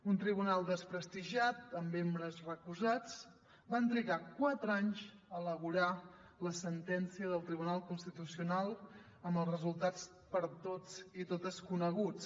un tribunal desprestigiat amb membres recusats va trigar quatre anys a elaborar la sentència del tribunal constitucional amb els resultats per a tots i totes coneguts